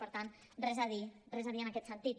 per tant res a dir res a dir en aquest sentit